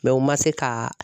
Mɛ u ma se ka